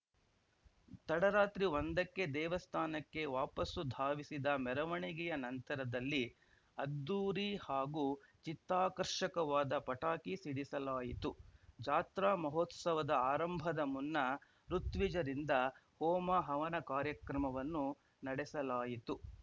ತಡರಾತ್ರಿ ಒಂದಕ್ಕೆ ದೇವಸ್ಥಾನಕ್ಕೆ ವಾಪಾಸು ಧಾವಿಸಿದ ಮೆರವಣಿಗೆ ನಂತರದಲ್ಲಿ ಅದ್ದೂರಿ ಹಾಗೂ ಚಿತ್ತಾಕರ್ಷಕವಾದ ಪಟಾಕಿ ಸಿಡಿಸಲಾಯಿತು ಜಾತ್ರಾ ಮಹೋತ್ಸವದ ಆರಂಭದ ಮುನ್ನಾ ಋುತ್ವಿಜರಿಂದ ಹೋಮ ಹವನ ಕಾರ್ಯಕ್ರಮವನ್ನು ನಡೆಸಲಾಯಿತು